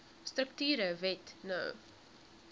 strukture wet no